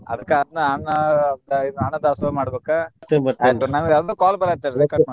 ಅದ್ಕ ಅದ್ನ ಅನ್ನ ಇದ ಅನ್ನದಾಸೋಹ ಮಾಡ್ಬೇಕ ಆಯ್ತ್ ನಂಗ್ ಯಾರ್ದೊ call ಬರಾತೇತಿ